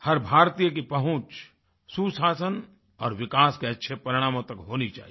हर भारतीय की पहुँच सुशासन और विकास के अच्छे परिणामों तक होनी चाहिए